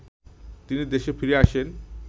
তিনি দেশে ফিরে আসেন